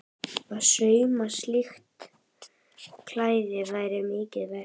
Að sauma slíkt klæði var mikið verk.